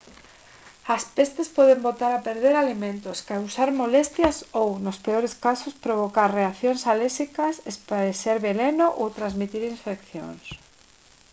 as pestes poden botar a perder alimentos causar molestias ou nos peores casos provocar reaccións alérxicas esparexer veleno ou transmitir infeccións